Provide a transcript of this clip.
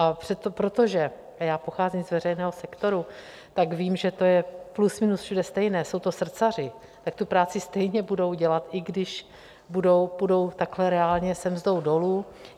A protože já pocházím z veřejného sektoru, tak vím, že to je plus minus všude stejné, jsou to srdcaři, tak tu práci stejně budou dělat, i když půjdou takhle reálně se mzdou dolů.